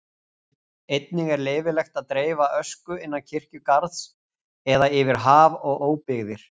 Einnig er leyfilegt að dreifa ösku innan kirkjugarðs eða yfir haf og óbyggðir.